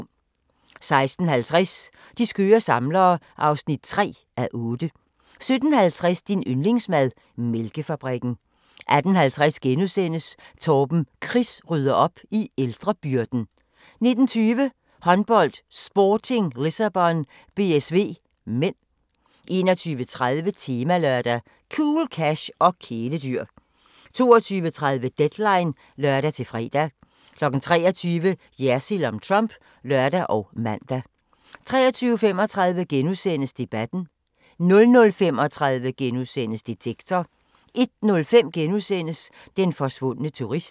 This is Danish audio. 16:50: De skøre samlere (3:8) 17:50: Din yndlingsmad: Mælkefabrikken 18:50: Torben Chris rydder op i ældrebyrden * 19:20: Håndbold: Sporting Lissabon - BSV (m) 21:30: Temalørdag: Cool cash og kæledyr 22:30: Deadline (lør-fre) 23:00: Jersild om Trump (lør og man) 23:35: Debatten * 00:35: Detektor * 01:05: Den forsvundne turist *